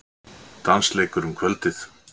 Dansleikur um kvöldið.